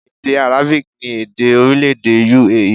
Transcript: Èdè Arabic ni èdè orílẹ̀-èdè U.A.E